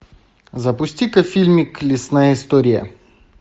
запусти ка фильмик лесная история